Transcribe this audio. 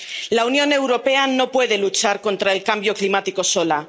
La Unión Europea no puede luchar contra el cambio climático sola.